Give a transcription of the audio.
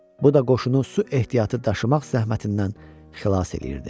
Bu da qoşunu su ehtiyatı daşımaq zəhmətindən xilas eləyirdi.